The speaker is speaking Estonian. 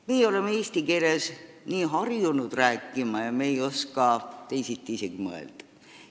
Meie oleme nii harjunud eesti keeles rääkima ja me ei oska teisiti isegi mõelda.